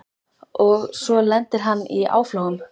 Og svo lendir hann í áflogum.